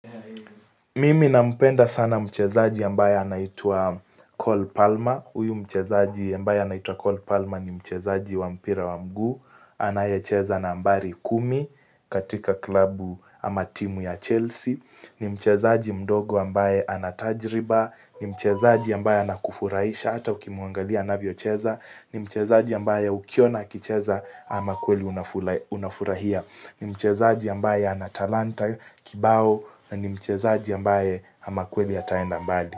Mimi nampenda sana mchezaji ambaye anaitua Cole Palma. Uyu mchezaji ambaye anaitua Cole Palma ni mchezaji wa mpira wa mguu. Anayecheza na ambari kumi katika klabu ama timu ya Chelsea. Ni mchezaji mdogo ambaye anatajriba. Ni mchezaji ambaye anakufurahisha ata ukimwangalia anavyo cheza. Ni mchezaji ambaye ukiona akicheza ama kweli unafurahia. Ni mchezaji ambaye anatalanta kibao. Na ni mchezaji ambaye amakweli ataenda mbali.